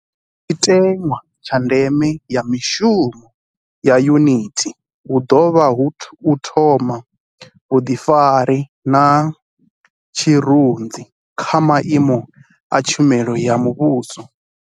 Tshiṅwe tshiteṅwa tsha ndeme ya mushumo wa Yunithi hu ḓo vha u thoma vhuḓifari na tshirunzi kha maimo a tshumelo ya muvhuso.